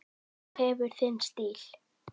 Þú hefur þinn stíl.